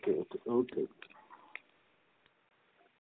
ok ok